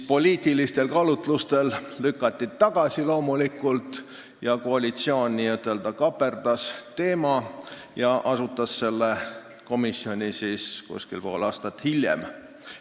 Poliitilistel kaalutlustel lükati see loomulikult tagasi, koalitsioon n-ö kaaperdas teema ja asutas selle komisjoni umbes pool aastat hiljem.